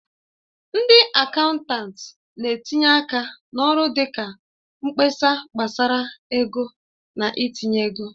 Ndị akaụntanti na-etinye aka n'ọrụ dị ka mkpesa gbasara ego na itinye ego.